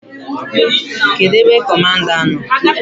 Kedụ ebe Kọmanda nọ?